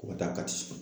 O ka taa kati